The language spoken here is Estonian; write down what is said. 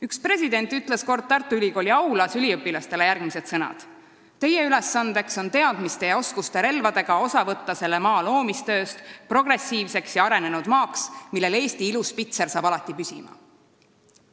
Üks president ütles kord Tartu Ülikooli aulas üliõpilastele järgmised sõnad: "Teie ülesandeks on teadmiste ja oskuste relvadega osa võtta selle maa loomistööst progressiivseks ja arenenud maaks, millel Eesti ilus pitser alati saab püsima!